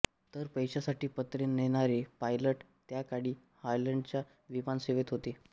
तर पैशासाठी पत्रे नेणारे पायलट त्या काळी हॉलंडच्या विमानसेवेत होते